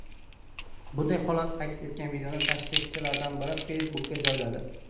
Bunday holat aks etgan videoni tashrifchilardan biri Facebook’ka joyladi .